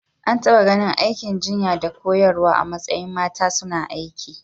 An taɓa ganin aikin jinya da koyarwa a matsayin mata suna aiki.